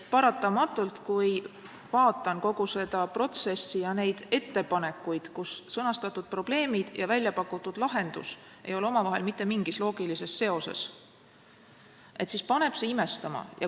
Paratamatult, kui ma vaatan kogu seda protsessi ja neid ettepanekuid, kus sõnastatud probleem ja pakutud lahendus ei ole omavahel mitte mingis loogilises seoses, siis paneb see imestama.